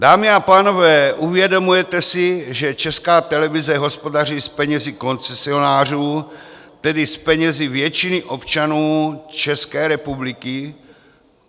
Dámy a pánové, uvědomujete si, že Česká televize hospodaří s penězi koncesionářů, tedy s penězi většiny občanů České republiky?